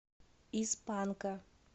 из панка